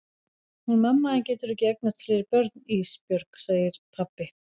Hún mamma þín getur ekki eignast fleiri börn Ísbjörg, segir pabbi.